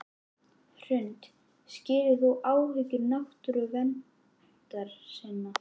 Hrund: Skilur þú áhyggjur náttúruverndarsinna?